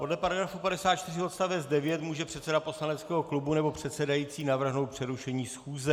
Podle § 54 odst. 9 může předseda poslaneckého klubu nebo předsedající navrhnout přerušení schůze.